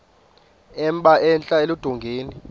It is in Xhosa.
emba entla eludongeni